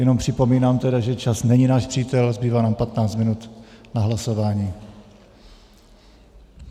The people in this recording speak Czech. Jenom připomínám tedy, že čas není náš přítel, zbývá nám 15 minut na hlasování.